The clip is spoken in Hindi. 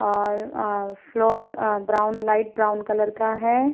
और अ फ्लोर अ ब्राउन लाइट ब्राउन कलर का है।